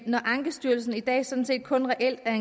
når ankestyrelsen i dag sådan set kun reelt er